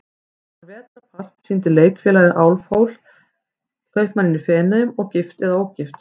Þennan vetrarpart sýndi Leikfélagið Álfhól, Kaupmanninn í Feneyjum og Gift eða ógift?